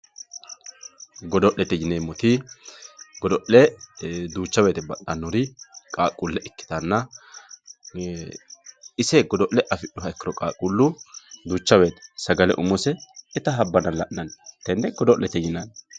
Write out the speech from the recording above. Godo'lete yineemmoti godo'le duucha woyte ba"anori qaaqqule ikkittanna ise godo'le affidhuha ikkiro qaaqqulu duucha woyte sagale umose itta habbanna la'nanni tene godo'lete yinanni.